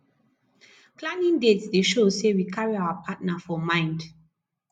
planning dates dey show say we carry our partner for mind